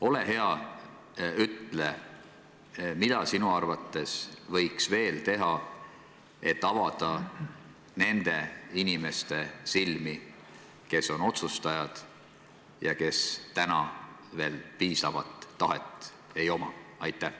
Ole hea, ütle, mida sinu arvates võiks veel teha, et avada nende inimeste silmi, kes on otsustajad ja kellel täna veel piisavat tahet ei ole.